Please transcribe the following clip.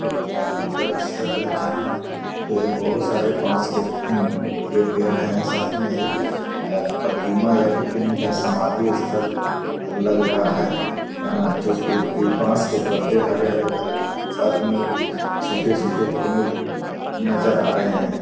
भारी परिसर जहाँ पर बहुत सारे बांस के पेड़ हैं साथ में एक प्रतिमा या फिर इन्ही का समाधि स्थल लग रहा है जो कि बांस के पत्ते हरे-हरे लग रहे साथ में कुछ सूखे-सूखे पेड़ नजर आ रहे हैं।